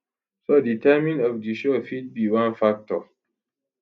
so di timing of di show fit be one factor